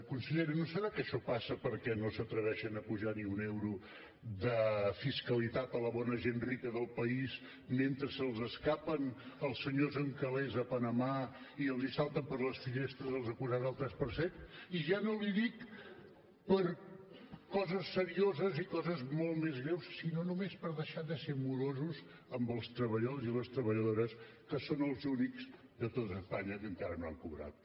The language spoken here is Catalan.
consellera no deu ser que això passa perquè no s’atreveixen a apujar ni un euro de fiscalitat a la bona gent rica del país mentre se’ls escapen els senyors amb calés a panamà i els salten per les finestres els acusats del tres per cent i ja no li dic per coses serioses i coses molt més greus sinó només per deixar de ser morosos amb els treballadors i les treballadores que són els únics de tot espanya que encara no han cobrat